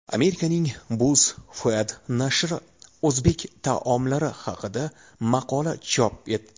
Amerikaning BuzzFeed nashri o‘zbek taomlari haqida maqola chop etdi.